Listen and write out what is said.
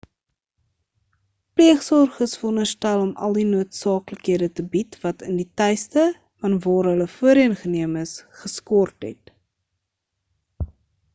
pleegsorg is veronderstel om al die noodsaaklikhede te bied wat in die tuiste van waar hulle voorheen geneem is geskort het